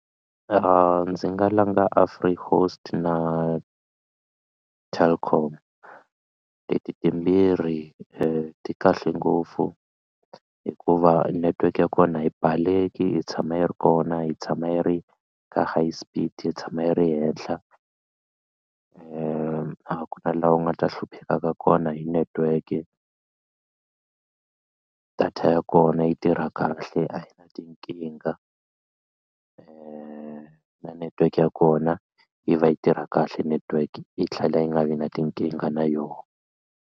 Ndzi nga langa na Telkom leti timbirhi ti kahle ngopfu hikuva network ya kona a yi baleki yi tshama yi ri kona yi tshama yi ri ka high speed yi tshama yi ri henhla a ku na laha u nga ta hluphekaka kona hi network data ya kona yi yi tirha kahle a yi na tinkingha na network ya kona yi va yi tirha kahle network yi tlhela yi nga vi na tinkingha na yona.